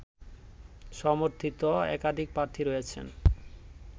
সমর্থিত একাধিক প্রার্থী রয়েছেন